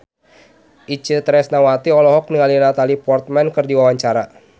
Itje Tresnawati olohok ningali Natalie Portman keur diwawancara